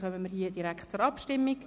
Dann kommen wir direkt zur Abstimmung.